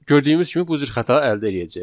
Gördüyümüz kimi bu cür xəta əldə eləyəcəyik.